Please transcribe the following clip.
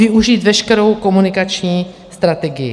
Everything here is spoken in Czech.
Využít veškerou komunikační strategii.